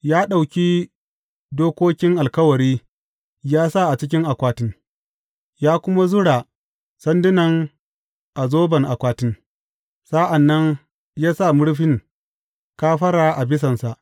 Ya ɗauki dokokin Alkawari ya sa a cikin akwatin, ya kuma zura sandunan a zoban akwatin, sa’an nan ya sa murfin kafara a bisansa.